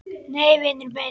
Nei, vinur minn!